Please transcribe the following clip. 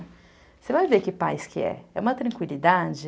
Você vai ver que paz que é. É uma tranquilidade.